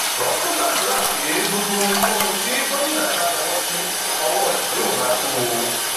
wọn tún gbàdúrà pé gbogbo ohunkóhun tí gómìnà bá náwó sí ọwọ rẹ yóò máa tó o